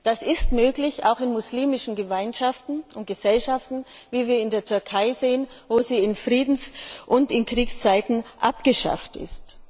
Das ist auch in muslimischen Gemeinschaften und Gesellschaften möglich, wie wir in der Türkei sehen, wo sie in Friedens und in Kriegszeiten abgeschafft ist.